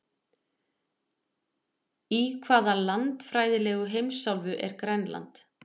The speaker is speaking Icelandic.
Í hvaða landfræðilegu heimsálfu er Grænland?